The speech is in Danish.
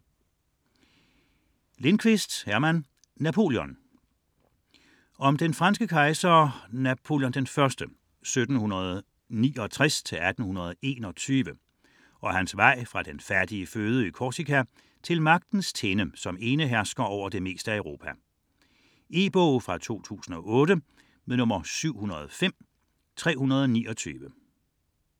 99.4 Napoléon: kejser af Frankrig Lindqvist, Herman: Napoleon Om den franske kejser Napoléon I (1769-1821) og hans vej fra den fattige fødeø Korsika til magtens tinde som enehersker over det meste af Europa. E-bog 705329 2008.